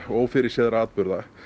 og ófyrirséðra atburða